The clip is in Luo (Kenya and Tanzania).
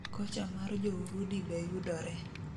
Kocha mar jourudi be yudore